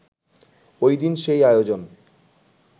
ঐদিন সেই আয়োজন